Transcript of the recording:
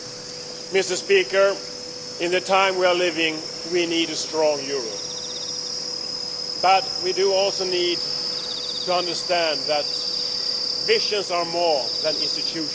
Mr President, in the times we are living in we need a strong Europe, but we also need to understand that visions are more than institutions.